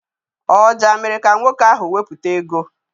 Ọja mere ka nwoke ahụ wepụta ego.